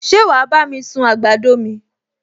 Ṣé wàá bá mi sun àgbàdo mi?